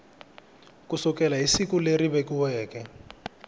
sukela hi siku leri vekiweke